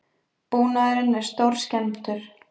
Búnaðurinn er stórskemmdur